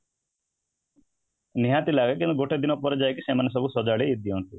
ନିହାତି ଲାଗେ କିନ୍ତୁ ଗୋଟେ ଦିନ ପରେ ଯାଇକି ସେମାନେ ସବୁ ସଜାଡି଼ଦିଅଁନ୍ତି